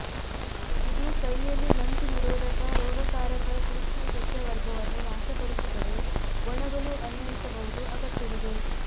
ಇದು ಕೈಯಲ್ಲಿ ನಂಜುನಿರೋಧಕ ರೋಗಕಾರಕ ಸೂಕ್ಷ್ಮಸಸ್ಯವರ್ಗವನ್ನು ನಾಶಪಡಿಸುತ್ತದೆ ಒಣಗಲು ಅನ್ವಯಿಸಬಹುದು ಅಗತ್ಯವಿದೆ